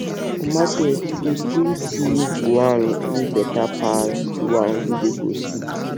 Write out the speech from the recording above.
for market you go still see de one wey better pass de one wey dey grocery